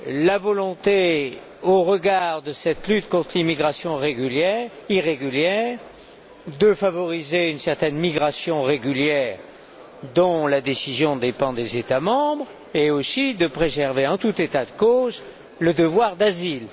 la volonté, au regard de cette lutte contre l'immigration irrégulière, de favoriser une certaine migration régulière, dont la décision dépend des États membres, et aussi celle de préserver, en tout état de cause, le devoir d'asile.